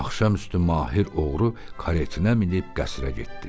Axşam üstü Mahir oğru karetinə minib qəsrə getdi.